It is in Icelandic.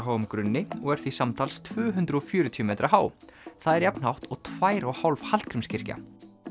háum grunni og er því samtals tvö hundruð fjörutíu metra há það er jafn hátt og tvær og hálf Hallgrímskirkja